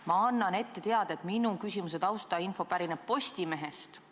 Ma annan ette teada, et minu küsimuse taustainfo pärineb Postimehest.